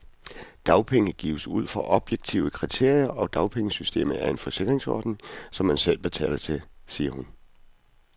Dagpenge gives ud fra objektive kriterier, og dagpengesystemet er en forsikringsordning, som man selv betaler til, siger hun.